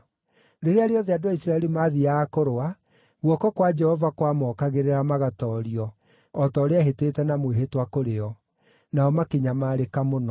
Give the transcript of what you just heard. Rĩrĩa rĩothe andũ a Isiraeli maathiiaga kũrũa, guoko kwa Jehova kwamookagĩrĩra magatoorio, o ta ũrĩa eehĩtĩte na mwĩhĩtwa kũrĩ o. Nao makĩnyamarĩka mũno.